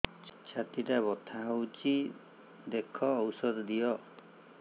ଛାତି ଟା ବଥା ହଉଚି ଦେଖ ଔଷଧ ଦିଅ